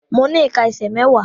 Mo ní ìká ẹsẹ̀ mẹ́wàá.